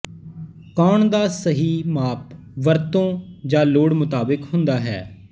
ਕੋਣ ਦਾ ਸਹੀ ਮਾਪ ਵਰਤੋਂ ਜਾਂ ਲੋੜ ਮੁਤਾਬਕ ਹੁੰਦਾ ਹੈ